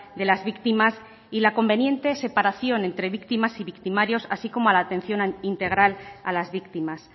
de las víctimas y la conveniente separación entre víctimas y victimarios así como a la atención integral a las víctimas